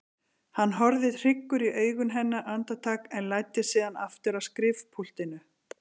Hann horfði hryggur í augu hennar andartak en læddist síðan aftur að skrifpúltinu.